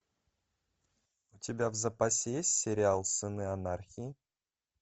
у тебя в запасе есть сериал сыны анархии